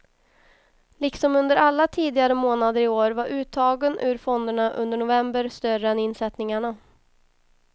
Liksom under alla tidigare månader i år var uttagen ur fonderna under november större än insättningarna.